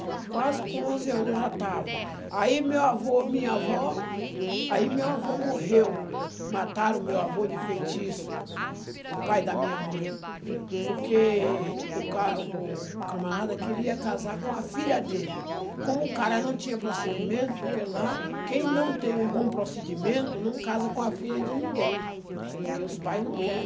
quase com onze anos eu já estava, aí meu avô, minha avó, aí meu avô morreu, mataram meu avô de feitiço, o pai da minha mãe, porque o ca o camarada queria casar com a filha dele, como o cara não tinha procedimento, porque lá quem não tem um bom procedimento não casa com a filha de ninguém. Hm. Porque os pais não quer.